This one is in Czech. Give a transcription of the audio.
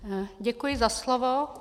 Děkuji za slovo.